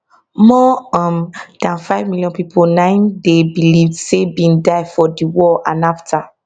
more um dan five million pipo na im dey believed say bin die for di war and afta